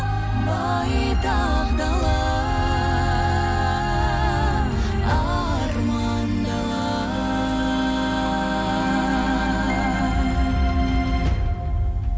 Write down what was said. байтақ дала арман дала